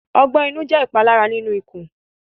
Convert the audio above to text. Ọgbẹ inu jẹ ipalara ninu ikun